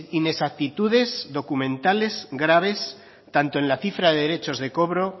inexactitudes documentales graves tanto en la cifra de derechos de cobro